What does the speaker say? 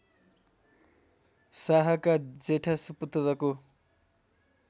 शाहका जेठा सुपुत्रको